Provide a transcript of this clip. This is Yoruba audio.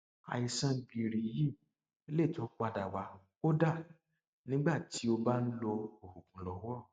àìsàn gìrì yìí lè tún padà wá kódà nígbà tí ó bá ń lo oògùn lọwọ